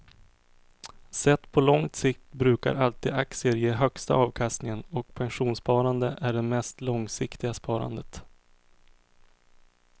Sett på lång sikt brukar alltid aktier ge högsta avkastningen och pensionssparande är det mest långsiktiga sparandet.